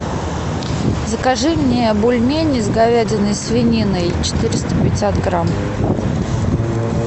закажи мне бульмени с говядиной свининой четыреста пятьдесят грамм